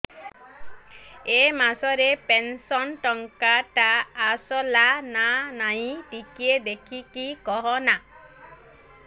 ଏ ମାସ ରେ ପେନସନ ଟଙ୍କା ଟା ଆସଲା ନା ନାଇଁ ଟିକେ ଦେଖିକି କହନା